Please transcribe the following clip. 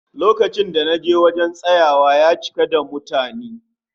Lokacin da naje wurin tsayawa, ya cika da mutani